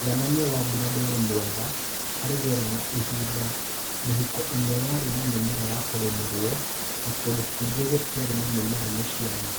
Mũigananie wa mbura dwarĩ mwega harĩ rĩera na ihinda, mĩhũko ĩmwe yarĩ na mĩmera ya kũrĩmĩrwo, no kũndũ kũingĩ gũtiarĩ na mĩmera mĩciaru.